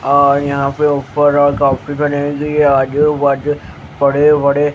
और यहां पे ऊपर आजू बाजू बड़े बड़े--